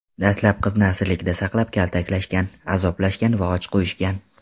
Dastlab qizni asirlikda saqlab, kaltaklashgan, azoblashgan va och qo‘yishgan.